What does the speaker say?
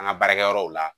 An ka baarakɛyɔrɔw la